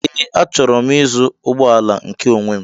Ee, achọrọ m ịzụ ụgbọala nke onwé m